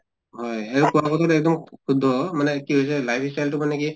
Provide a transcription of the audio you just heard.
হয় আৰু এক্দম শুদ্ধ মানে কি হৈছে life style তো মানে কি